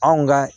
Anw ka